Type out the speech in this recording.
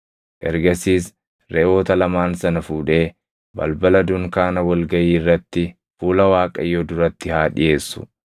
Ergasiis reʼoota lamaan sana fuudhee balbala dunkaana wal gaʼii irratti fuula Waaqayyoo duratti haa dhiʼeessu.